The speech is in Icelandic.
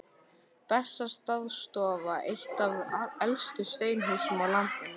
Bessastaðastofa, eitt af elstu steinhúsum á landinu.